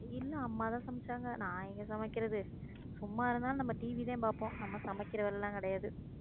இல்ல அம்மாதான் சமைச்சாங்க நான் எங்க சமைக்கிறது சும்மா இருந்தாலும் நம்ம TV தான் பாப்போம் நம்ம சமைக்கிறதெல்லாம் கிடையாது